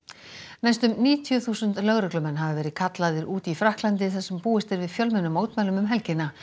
næstum níutíu þúsund lögreglumenn hafa verið kallaðir út í Frakklandi þar sem búist er við fjölmennum mótmælum um helgina